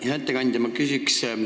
Hea ettekandja!